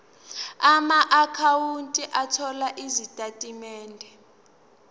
amaakhawunti othola izitatimende